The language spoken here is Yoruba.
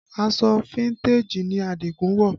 Aṣọ fíntèjì ni Adigun wọ̀